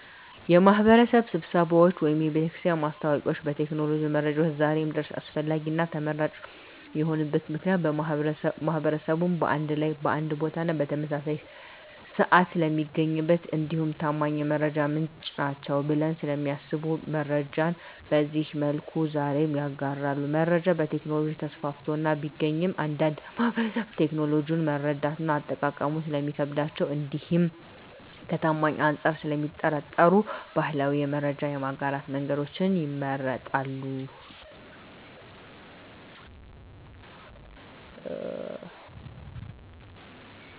የማህበረሰብ ስብሰባዎች ወይም የቤተክርስቲያን ማስታወቂያዎች ከቴክኖሎጂ መረጃዎች ዛሬም ድረስ አስፈላጊና ተመራጭ የሆኑበት ምክንያት ማህበረሰቡን በአንድ ላይ በአንድ ቦታና በተመሳሳይ ስዓት ስለሚያገኟቸው እንዲሁም ታማኝ የመረጃ ምንጭ ናቸዉ ብለው ስለሚያስቡ መረጃን በዚህ መልኩ ዛሬም ይጋራሉ። መረጃ በቴክኖሎጂ ተስፋፍቶ ቢገኝም አንዳንድ ማህበረሰብ ቴክኖሎጂውን መረዳትና አጠቃቀሙ ስለሚከብዳቸው እንዲሁም ከታማኝነት አንፃር ስለሚጠራጠሩ ባህላዊ የመረጃ የማጋራት መንገዶችን ይመርጣሉ።